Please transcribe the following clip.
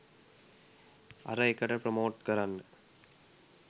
අර එකට ප්‍රොමෝට් කරන්න